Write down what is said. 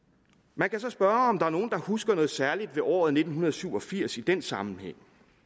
man kan så spørge om der er nogle der husker noget særligt ved året nitten syv og firs i den sammenhæng